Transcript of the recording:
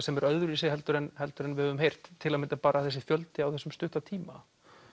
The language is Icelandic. sem er öðruvísi en við höfum heyrt til að mynda bara þessi fjöldi á þessum stutta tíma